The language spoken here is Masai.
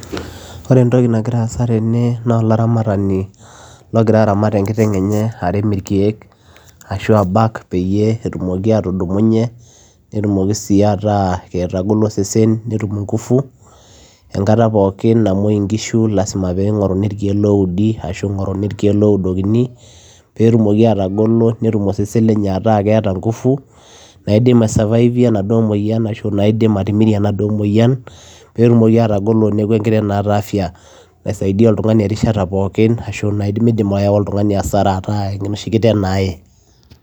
Ore entokii nagiraa aasa tene naa olaramatani logira aramat enkiteng enye arem irkiek peyiee etumoki atudumunye netumokii sii atagoloo osesen netum nguvu angataa pookin namuoyuu ngishu lazima peyiee eeudii peyiee etumoki ataholoo netum osesen nguvu naidim atimirie enaduoo mayian peyiee tumokii atagoloo neeku enkiteng naata afya peyie meyaa oltunganii aasara